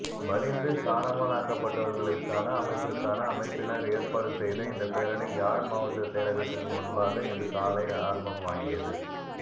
வலிந்து காணாமாலாக்கப்பட்டவர்களிற்கான அமைப்பிற்கான அமைப்பினர் ஏற்பாடு செய்த இந்த பேரணி யாழ் மாவட்ட செயலக்திற்கு முன்பாக இன்று காலை ஆரம்பமாகியது